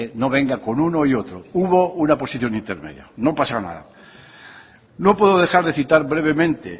no venga con uno y otro hubo una posición intermedia no pasa nada no puedo dejar de citar brevemente